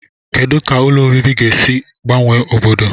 Kedu ka ụlọ obibi ga-esi gbanwe obodo?